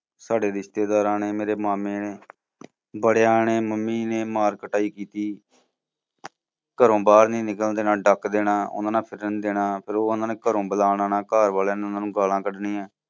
ਸਾਡੇ ਰਿਸ਼ਤੇਦਾਰਾਂ ਨੇ, ਮੇਰੇ ਮਾਮੇ ਨੇ, ਬੜਿਆ ਨੇ ਮੰਮੀ ਨੇ ਮਾਰ ਕੁਟਾਈ ਕੀਤੀ। ਘਰੋਂ ਬਾਹਰ ਨੀ ਨਿਕਲਣ ਦੇਣਾ, ਡੱਕ ਦੇਣਾ, ਉਨ੍ਹਾਂ ਨਾਲ ਫਿਰਨ ਨੀ ਦੇਣਾ। ਫਿਰ ਉਨ੍ਹਾਂ ਨੂੰ ਘਰ ਬੁਲਾ ਲੈਣਾ, ਘਰ ਵਾਲਿਆਂ ਨੇ ਉਨ੍ਹਾਂ ਨੂੰ ਗਾਲਾਂ ਕਢਣੀਆਂ